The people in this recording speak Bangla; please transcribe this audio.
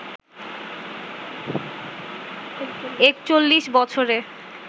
৪১ বছরের